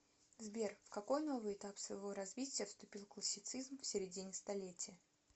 сбер в какой новый этап своего развития вступил классицизм в середине столетия